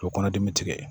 O kɔnɔ dimi bi tigɛ